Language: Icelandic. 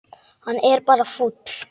Hann er bara fúll.